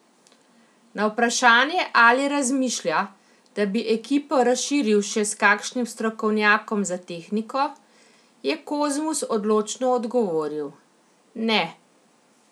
Na vprašanje, ali razmišlja, da bi ekipo razširil še s kakšnim strokovnjakom za tehniko, je Kozmus odločno odgovoril: 'Ne.